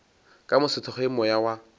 ka mo sethokgweng moya wa